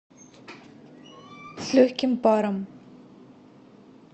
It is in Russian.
с легким паром